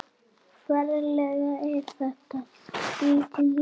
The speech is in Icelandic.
Ferlega er þetta skrítin lykt.